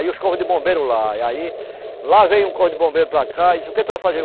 Aí os corpo de bombeiro lá, e aí, lá veio um corpo de bombeiro para cá e disse, o que tu vai fazer?